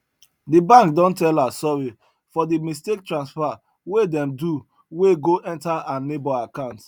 the bank don tell her sorry for the mistake transfer wey dem do wey go enter her neighbor account